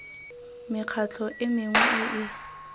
mekgatlho e mengwe e e